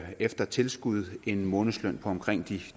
efter tilskud en månedsløn på omkring